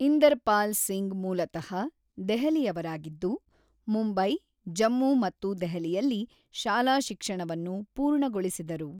ಇಂದರ್ಪಾಲ್ ಸಿಂಗ್ ಮೂಲತ: ದೆಹಲಿಯವರಾಗಿದ್ದು, ಮುಂಬೈ, ಜಮ್ಮು ಮತ್ತು ದೆಹಲಿಯಲ್ಲಿ ಶಾಲಾ ಶಿಕ್ಷಣವನ್ನು ಪೂರ್ಣಗೊಳಿಸಿದರು.